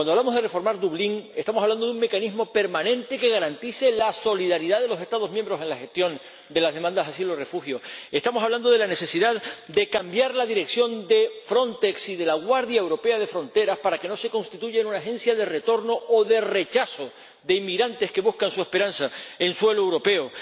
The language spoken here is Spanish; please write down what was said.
Cuando hablamos de reformar Dublín, estamos hablando de un mecanismo permanente que garantice la solidaridad de los Estados miembros en la gestión de las demandas de asilo y refugio, estamos hablando de la necesidad de cambiar la dirección de Frontex y de la Guardia Europea de Fronteras y Costas para que no se constituya en una agencia de retorno o de rechazo de inmigrantes que buscan su esperanza en suelo europeo.